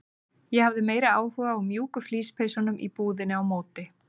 Ég hafði meiri áhuga á mjúku flíspeysunum í búðinni á móti.